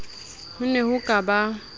ho ne ho ka ba